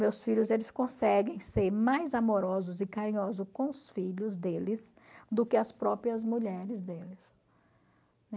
Meus filhos conseguem ser mais amorosos e carinhosos com os filhos deles do que as próprias mulheres deles.